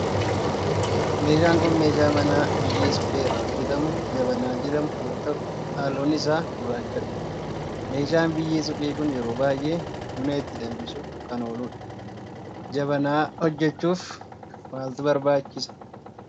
meeshaa kun meeshaa manaa biyyee suphee irraa hojjetamu jabanaa jedhamu yoo ta'u halluun isaa gurraachadha. meeshaan biyyee suphee kun yeroo baayyee buna itti danfisuf kan ooludha. jabanaa hojjechuuf maaltu barbaachisa?